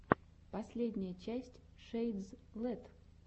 последняя часть шэйдзлэт